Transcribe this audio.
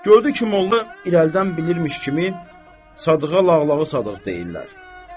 Gördü ki, molla irəlidən bilirmiş kimi Sadığa Lağlağı Sadıq deyirlər.